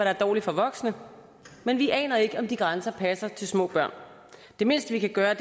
er dårligt for voksne men vi aner ikke om de grænser passer til små børn det mindste vi kan gøre